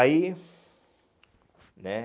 Aí, né?